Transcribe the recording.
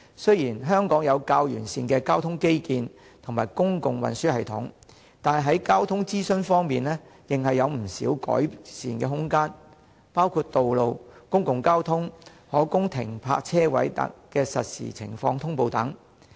雖然香港有較完善的交通基建和公共運輸系統，但在交通資訊方面仍有不少改善的空間，包括道路、公共交通、可供停泊車位的實時情況等。